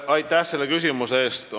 Aitäh selle küsimuse eest!